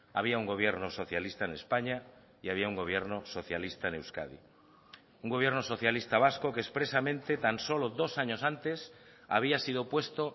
había un gobierno socialista en españa y había un gobierno socialista en euskadi un gobierno socialista vasco que expresamente tan solo dos años antes había sido puesto